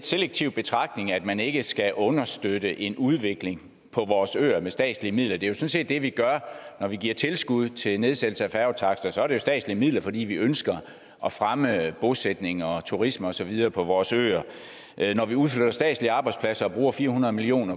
selektiv betragtning at man ikke skal understøtte en udvikling på vores øer med statslige midler det er set det vi gør når vi giver tilskud til nedsættelse af færgetakster så er det jo statslige midler fordi vi ønsker at fremme bosætning og turisme og så videre på vores øer når vi udflytter statslige arbejdspladser og bruger fire hundrede million